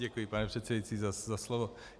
Děkuji, pane předsedající, za slovo.